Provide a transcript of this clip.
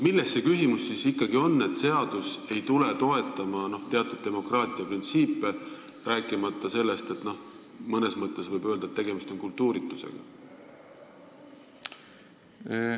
Milles see küsimus siis ikkagi on, et seadus ei tule toetama demokraatia teatud printsiipe, rääkimata sellest, et mõnes mõttes võib öelda, et tegemist on kultuuritusega?